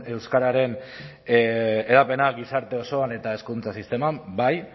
euskararen hedapena gizarte osoan eta hezkuntza sistema bai